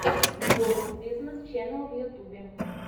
ворлд бизнес ченел в ютубе